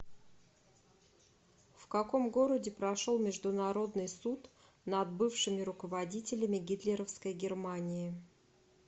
в каком городе прошел международный суд над бывшими руководителями гитлеровской германии